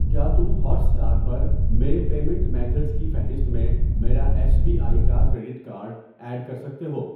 کیا تم ہوٹسٹار پرمیرے پیمینٹ میتھڈز کی فہرست میں میرا ایس بی آئی کا کریڈٹ کارڈ ایڈ کر سکتے ہو؟